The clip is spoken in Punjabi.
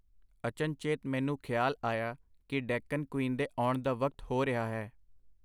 ਅਚਨਚੇਤ ਮੈਨੂੰ ਖਿਆਲ ਆਇਆ ਕਿ ਡੈਕੱਨ ਕਵੀਨ ਦੇ ਆਉਣ ਦਾ ਵਕਤ ਹੋ ਰਿਹਾ ਹੈ.